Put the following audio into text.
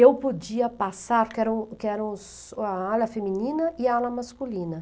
Eu podia passar, que eram que eram a ala feminina e a ala masculina.